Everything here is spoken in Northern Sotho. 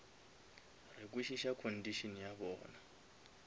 re kwešiša condition ya bona